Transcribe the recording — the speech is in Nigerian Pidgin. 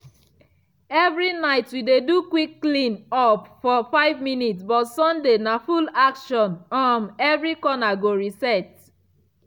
evri night we dey do quick clean up for 5 minutes but sunday na full action um every corner go reset.